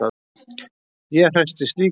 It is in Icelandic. Ég hresstist líka.